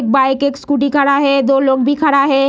Bike एक scooty खड़ा है दो लोग भी खड़ा है।